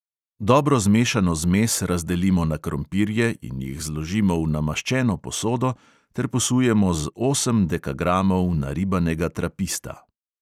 Dobro zmešano zmes razdelimo na krompirje in jih zložimo v namaščeno posodo ter posujemo z osem dekagramov naribanega trapista.